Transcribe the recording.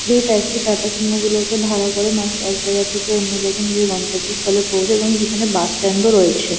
যেই ট্যাক্সি টাটা সুমো -গুলোকে ভাড়া করে মানুষ এক জায়গা থেকে অন্য জায়গায় নিজের গন্তব্যস্থলে পৌঁছায় এবং যেখানে বাস স্ট্যান্ড -ও রয়েছে।